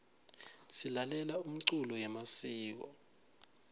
silalela umculo yemasiko